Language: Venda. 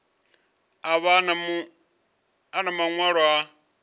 a vha na maṅwalo a